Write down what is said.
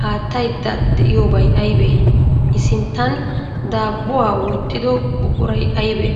qaattayidda diyoobay ayibee? I sinttan daabbuwaa wottido buquray ayibee?